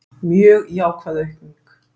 Mjög jákvæð aukning